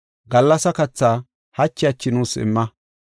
Gallasa kathaa hachi hachi nuus imma.